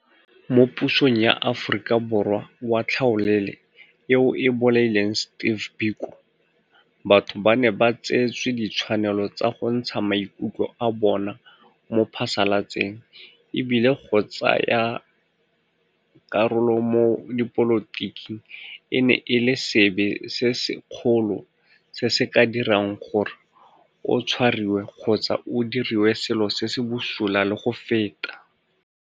Mo pusong ya Aforika Borwa wa tlhaolele eo e bolaileng Steve Biko, batho ba ne ba tseetswe ditshwanelo tsa go ntsha maikutlo a bona mo phasalatseng e bile go tsaya karolo mo dipolotiking e ne e le sebe se sekgolo se se ka dirang gore o tshwariwe kgotsa o diriwe selo se se bosula le go feta.